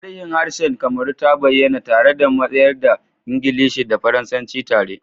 Tarihin harshen Kamaru ta bayyana tare da mayar da Ingilishi da Faransanci tare